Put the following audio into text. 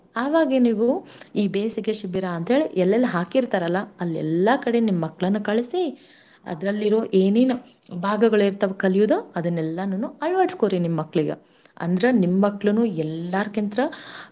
ಆವಾಗೆ ನೀವೂ ಈ ಬೇಸಿಗೆ ಶಿಬಿರ ಅಂತೇಳ್ ಎಲ್ಲೆಲ್ ಹಾಕಿರ್ತಾರಲ್ಲಾ ಅಲ್ಲೆಲ್ಲಾ ಕಡೆ ನಿಮ್ ಮಕ್ಳನ್ ಕಳ್ಸಿ ಅದ್ರಲ್ಲಿರೋ ಏನೇನ್ ಭಾಗಗಳಿರ್ತಾವ್ ಕಲ್ಯೂದ ಅದನ್ನೆಲ್ಲಾನುನೂ ಅಳ್ವಡ್ಸ್ಕೋರಿ ನಿಮ್ ಮಕ್ಳಿಗ. ಅಂದ್ರ ನಿಮ್ ಮಕ್ಳುನೂ ಎಲ್ಲಾರ್ಕಿಂತ್ರ.